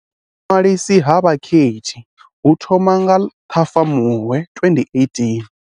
Vhuḓiṅwalisi ha vhakhethi hu thoma nga Ṱhafamuhwe 2018.